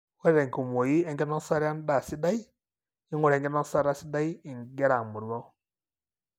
ore tenkumoi enkinosata endaa sidai. ingura enkinosata sidai ingira amoruau.